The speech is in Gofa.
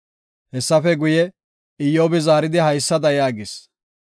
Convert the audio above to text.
Hessafe guye, Iyyobi zaaridi, haysada yaagis;